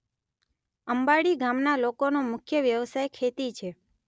અંબાડી ગામના લોકોનો મુખ્ય વ્યવસાય ખેતી છે.